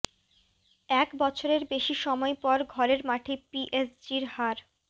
এক বছরের বেশি সময় পর ঘরের মাঠে পিএসজির হার